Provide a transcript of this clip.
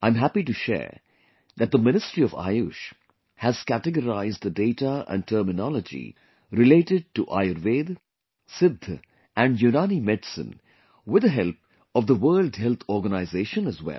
I am happy to share that the Ministry of AYUSH has categorized the data and terminology related to Ayurveda, Siddha and Unani medicine, with the help of the World Health Organization as well